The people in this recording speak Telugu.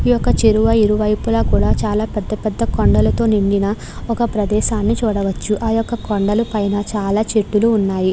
ఈ యొక్క చెరువు ఇరువైపులా కూడా చాలా పెద్ద పెద్ద కొండలతో నిండిన ఒక ప్రదేశాన్ని చూడవచ్చు. ఆ యొక్క కొండలు పైన చాలా చెట్లు ఉన్నాయి.